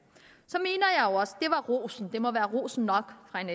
det ros og det må være ros nok fra en